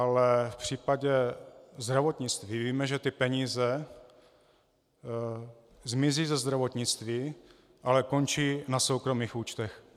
Ale v případě zdravotnictví víme, že ty peníze zmizí ze zdravotnictví, ale končí na soukromých účtech.